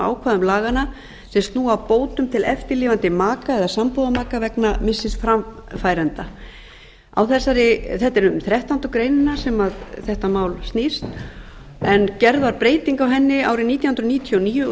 ákvæðum laganna sem snúa að bótum til eftirlifandi maka eða sambúðarmaka vegna missis framfæranda þetta er um þrettándu greinina sem þetta mál snýst en gerð var breyting á henni árið nítján hundruð níutíu og níu og